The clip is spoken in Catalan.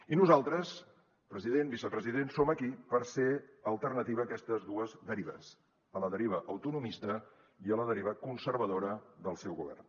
i nosaltres president vicepresident som aquí per ser alternativa a aquestes dues derives a la deriva autonomista i a la deriva conservadora del seu govern